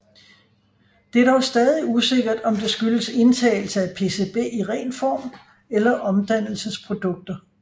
Det er dog stadig usikkert om det skyldes indtagelse af PCB i ren form eller omdannelsesprodukter